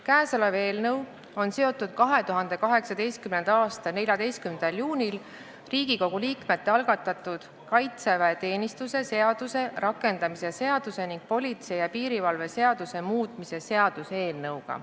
Kõnealune eelnõu on seotud 2018. aasta 14. juunil Riigikogu liikmete algatatud kaitseväeteenistuse seaduse rakendamise seaduse ning politsei ja piirivalve seaduse muutmise seaduse eelnõuga.